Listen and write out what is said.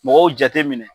Mɔgɔw jate minɛ